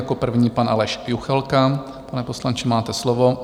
Jako první pan Aleš Juchelka, pane poslanče, máte slovo.